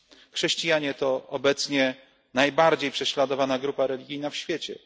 Chrześcijanie to obecnie najbardziej prześladowana grupa religijna na świecie.